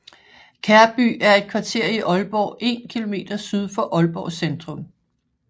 Kærby er et kvarter i Aalborg en kilometer syd for Aalborg Centrum